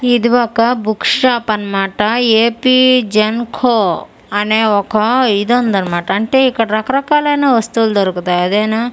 ఇది ఓక book shop అన్నమాట ఏ_పి జన్ఖో అనే ఓక ఇదుందన్నమాట అంటే ఇక్కడ రకరకాలైన వస్తువులు దొరుకుతాయి అదేన .]